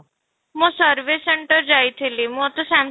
ମୁଁ service center ଯାଇଥିଲି ମୋତେ ସାମ